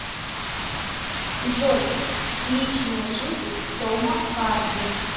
джой личная жизнь тома харди